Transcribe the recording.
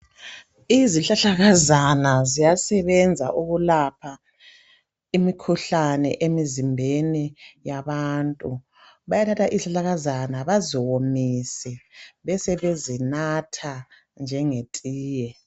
Izihlahlakazana ziyasebenza okulapha imikhuhlane emizimbeni yabantu. Bayathatha izihlahlakaza baziwomise besebezinatha njengetiye.